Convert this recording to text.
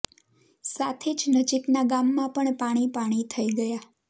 સાથે જ નજીકના ગામમાં પણ પાણી પાણી થઈ ગયા